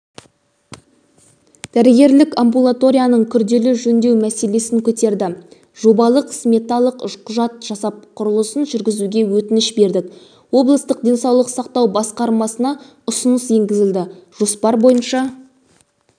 дәрігерлік амбулаторияны күрделі жөндеу мәселесін көтерді жобалық-сметалық құжат жасап құрылысын жүргізуге өтініш бердік облыстық денсаулық сақтау басқармасына ұсыныс енгізілді жоспар бойынша